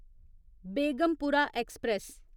Begumpura express